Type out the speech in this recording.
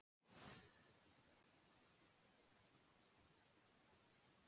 Ef vöxturinn er mjög hraður teygist of mikið á þráðunum og þeir rifna.